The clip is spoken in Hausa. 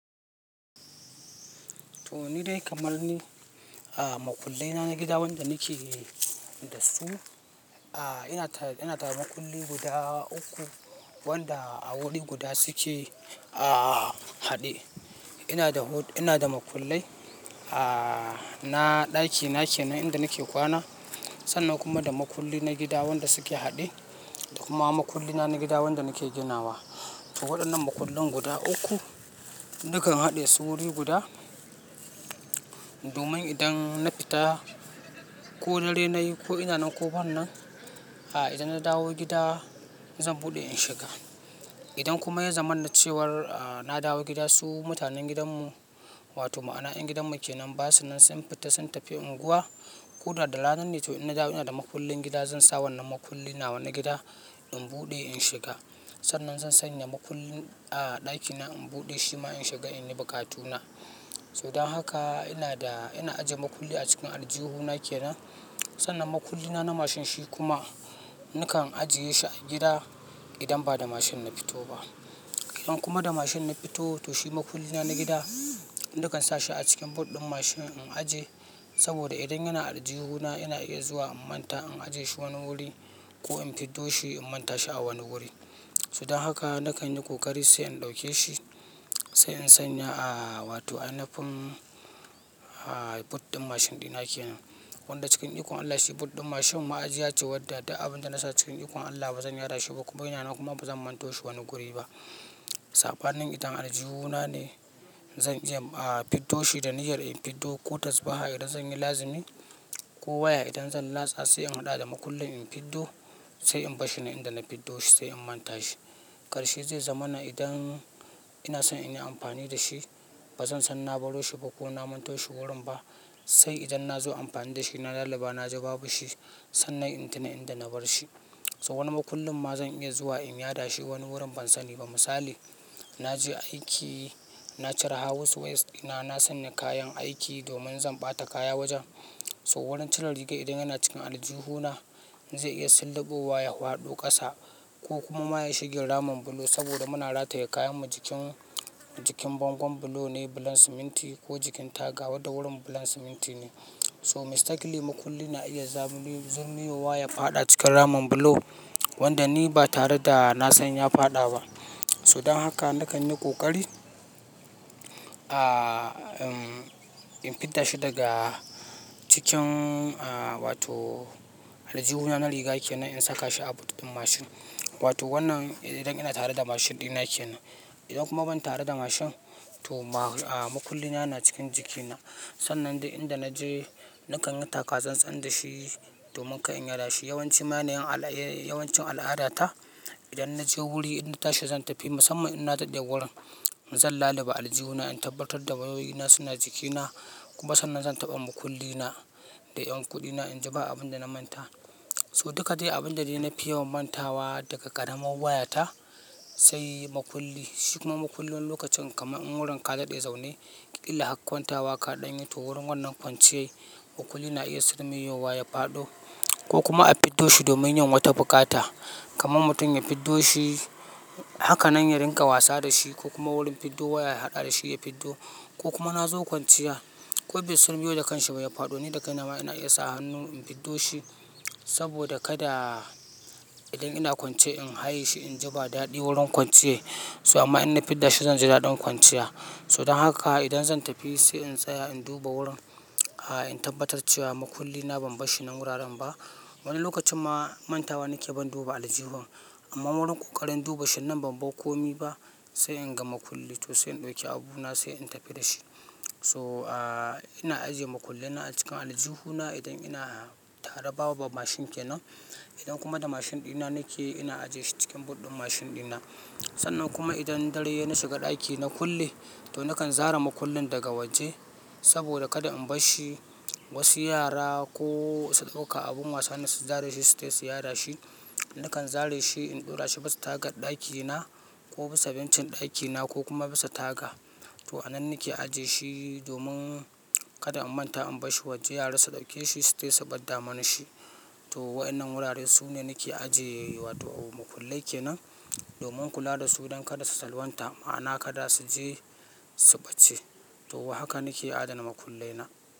To, ni dai kamar ni, a, maƙullai na gida wanda nake da su, a, ina tare, ina tare da maƙulli guda uku wanda a guri guda su ke, a, haɗe. Ina da ho, ina da maƙullai, a, na ɗaki na kenan inda nake kwana. Sannan kuma da maƙulli na gida wanda su ke haɗe da kuma maƙulli na na gida wanda nake ginawa. To, waɗannan maƙullin guda uku nakan haɗe su guri guda domin idan na fita ko dare nayi ko ina nan ko bana nan, a, idan na dawo gida zan buɗe in shiga. Idan kuma ya zama na cewar, a, na dawo gida su mutanen gidanmu wato ma'ana yan gidanmu ke nan basu nan sun fita sun tafi unguwa ko da rana ne to in na dawo ina da maƙullin gida zan sa wannan maƙulli nawa na gida in buɗe in shiga. Sannan zan sanyq maƙullin, a, ɗakina in buɗe shi ma in shiga in yi buƙatu na. So dan haka ina da-- ina ajiye maƙulli a cikin aljihuna ke nan. Sannan maƙulli na na mashin shi kuma nakan ajiye shi a gida idan ba da mashin na fito ba. Idan kuma da mashin na fito to shi maƙulli na na gida nakan sa shi a cikin but ɗin mashin in ajiye. Saboda idan yana aljihuna ina iya zuwa in manta in ajiye shi wani guri ko in fiddo shi in manta shi a wani guri. So dan haka nakan yi ƙoƙari sai in ɗauke shi sai in sanya, a, wato a nufin, a, but ɗin mashin ɗina ke nan. Wanda cikin ikon Allah shi but ɗin mashin ma ajiya ce wadda duk abin da na sa cikin ikon Allah bazan yada shi ba kuma yana nan kuma bazan manto shi wani guri ba. Sabanin idan aljihuna ne zan iya, a, fiddo shi da niyyar in fiddo ko tabbas a haka idan zan yi lazimi ko waya idan zan latsa sai in haɗa da maƙullin in fiddo sai in bar shi nan inda na fiddo shi sai in manta shi. Karshe zai zama na idan ina son in yi amfani da shi bazan san na baro shi ko kuma na manto shi gurin ba sai idan na zo amfani da shi na laluba na ji babu shi sannan in tuna inda na bar shi. So wani maƙullin ma zan iya zuwa in yada shi wani gurin ban sani ba. Misali, na je aiki na cire house ways dina na sanya kayan aiki domin zan ɓata kaya wajen. So gurin cire rigar idan yana cikin aljihuna zai iya sirliɓowa ya faɗo ƙasa ko kuma ma ya shiga ramin bulo saboda muna rataye kayan mu jikin, jikin bangon bulo ne bulan siminti ko jikin taga wanda da gurin bulan siminti ne. So mistakenly maƙulli na iya zurmiyowa ya faɗa cikin ramin bulo wanda ni ba tare da na san ya faɗa ba. So dan haka nakan yi ƙoƙari, a, in fidda shi daga cikin, a, wato aljihuna na riga ke nan in saka shi a but ɗin mashin. Wato wannan idan ina tare da mashin ɗina ke nan. Idan kuma ban tare da mashin to ma, a, maƙulli na na cikin jiki na. Sannan duk inda naje nakan yi taka tsan-tsan da shi domin kar in yada shi. Yawan ci ma na yin al'a, yawan cin al'adata idan naje guri in tashi zan tafi musamman idan na daɗe wurin zan laluba aljihuna in tabbatar da wayoyina suna jikina kuma sannan zan taɓa maƙulli na da ƴan kuɗina inji ba abun da na manta. To duka dai abin da dai na fi yawan mantawa daga ƙaramar wayata sai maƙulli. Shi kuma maƙullin lokacin kamar in gurin ka dade zaune, ƙila har kwontawa kaɗan yi to gurin wannan kwanciyar maƙullin na iya sirmiyewa ya faɗo ko kuma a fiddo shi domin yin wata bukata kamar mutum ya fiddo shi hakanan ya rinƙa wasa da shi ko kuma wurin fiddo waya ya haɗa da shi ya fiddo ko kuma na zo kwanciya ko bai sirmiyo da kanshi ba ya faɗo ni da kai na ma ina iya sa hannu in fiddo shi saboda kada idan ina kwance in haye shi in ji ba daɗi gurin kwanciyar. So amma in na fidda shi zan ji daɗin kwanciya. So dan haka idan zan tafi sai in tsaya in duba wurin, a, in tabbatar cewa maƙulli na ban bar shi nan wuraren ba. Wani lokacin ma mantawa nake ban duba aljihun amma gurin ƙoƙarin duba shi nan ban bar komai ba sai in ga maƙulli to sai in ɗauki abuna sai in tafi da shi. So, a, ina ajiye maƙullai na a cikin aljihuna idan ina tare babu mashin ke nan. Idan kuma da mashin ɗina nake ina ajiye shi cikin but ɗin mashin ɗina. Sannan kuma idan dare yayi na shiga ɗaki na kulle to nakan zare maƙullin daga waje saboda kada in bar shi wasu yara ko su ɗauka abin wasa ne su zare shi su tafi su yarda shi. Nakan zare shi in ɗora shi bisa tagar ɗakina ko bisa bencin ɗakina ko kuma bisa taga. To a nan nake ajiye shi domin kada in manta in bar shi waje yara su ɗauke shi sai su ɓadda mana shi. To waɗannan guraren su ne nake ajiye, wato maƙullai ke nan domin kula da su don kada su salwanta ma'ana kada su je su ɓace. To haka nake adana maƙullai na.